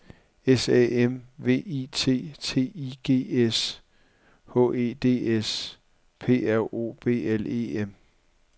S A M V I T T I G S H E D S P R O B L E M